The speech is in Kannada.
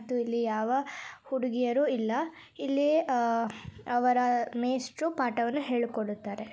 ಮತ್ತು ಇಲ್ಲಿ ಯಾವ ಹುಡುಗಿಯರು ಇಲ್ಲ ಇಲ್ಲಿ ಆ ಅವರ ಮೇಷ್ಟ್ರು ಪಾಠವನ್ನು ಹೇಳಿಕೊಡುತ್ತಾರೆ.